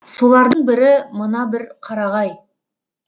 солардың бірі мына бір қарағай